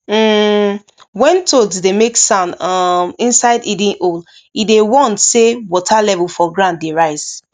um when toads dey make sound um inside hidden hole e dey warn say water level for ground dey rise